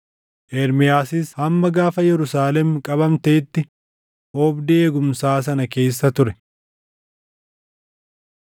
Ermiyaasis hamma gaafa Yerusaalem qabamteetti oobdii eegumsaa sana keessa ture.